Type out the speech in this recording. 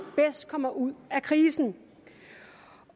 bedst kommer ud af krisen